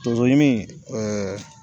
Tɔnso ɲimin